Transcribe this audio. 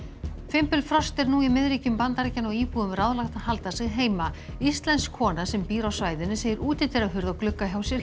fimbulfrost er nú í Bandaríkjanna og íbúum ráðlagt að halda sig heima íslensk kona sem býr á svæðinu segir útidyrahurð og glugga hjá sér